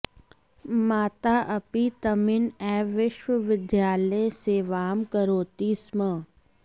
माता अपि तमिन् एव विश्वविद्यालये सेवां करोति स्म